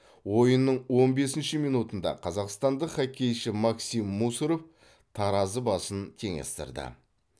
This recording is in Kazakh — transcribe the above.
ойынның он бесінші минутында қазақстандық хоккейші максим мусоров таразы басын теңестірді